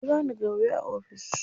Ka jira ni gobe a ofis.